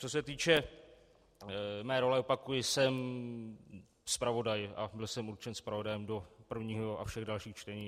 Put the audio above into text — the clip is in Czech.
Co se týče mé role, opakuji, jsem zpravodaj a byl jsem určen zpravodajem do prvního a všech dalších čtení.